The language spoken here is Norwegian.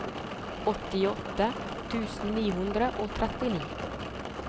åttiåtte tusen ni hundre og trettini